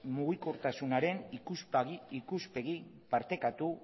mugikortasunaren ikuspegi partekatu